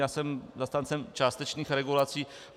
Já jsem zastáncem částečných regulací.